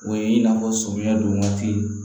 O ye in'a fɔ sɔmiya don waati